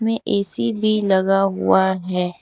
ये ए_सी भी लगा हुआ है।